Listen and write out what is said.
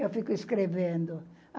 Eu fico escrevendo.